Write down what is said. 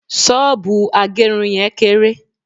soobu agerun yen kere